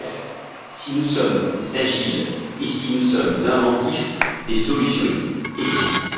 Bref, si nous sommes agiles et si nous sommes inventifs, des solutions existent.